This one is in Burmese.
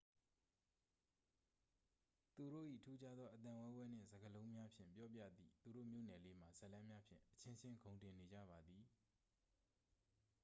သူတို့၏ ထူးခြားသော အသံဝဲဝဲနှင့် စကားလုံးများဖြင့် ပြောပြသည့် သူတို့ မြို့နယ်လေးမှ ဇာတ်လမ်းများဖြင့် အချင်းချင်း ဂုဏ်တင်နေကြပါသည်